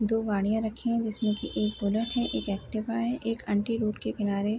दो गाड़ीया रखी हुई हैं। जिसमे एक बुलेट है और एक एक्टिवा है। एक आंटी रोड के किनारे --